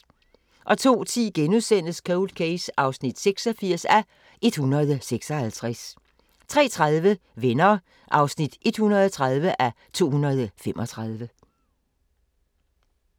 02:10: Cold Case (86:156)* 03:30: Venner (130:235)